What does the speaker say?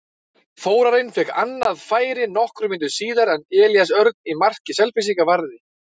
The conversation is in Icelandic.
Þórarinn fékk annað færi nokkrum mínútum síðar en Elías Örn í marki Selfyssinga varði.